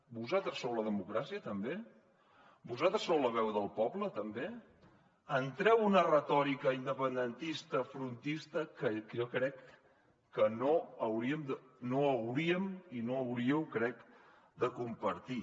vosaltres sou la democràcia també vosaltres sou la veu del poble també entreu en una retòrica independentista frontista que jo crec que no hauríem i no hauríeu crec de compartir